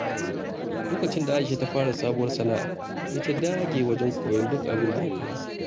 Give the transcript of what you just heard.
Lokacin da Aisha ta fara sabuwar sana’a, sai ta dage wajen koyon duk abin da ya kamata.